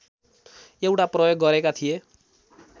एउटा प्रयोग गरेका थिए